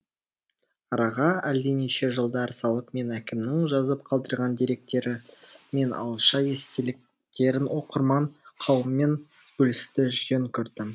араға әлденеше жылдар салып мен әкемнің жазып қалдырған деректері мен ауызша естеліктерін оқырман қауыммен бөлісуді жөн көрдім